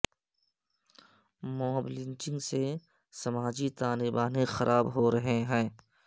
mob lynching سے سماجی تانے بانے خراب ہورہے ہیں